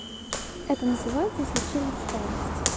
это называется случилась старость